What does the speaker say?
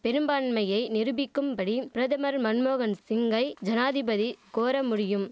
பெரும்பான்மையை நிருபிக்கும்படி பிரதமர் மன்மோகன் சிங்கை ஜனாதிபதி கோர முடியும்